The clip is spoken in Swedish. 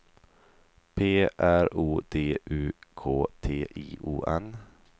P R O D U K T I O N